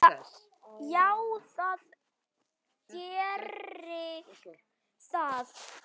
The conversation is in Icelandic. Já, það gerir það.